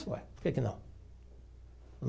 Por que que não?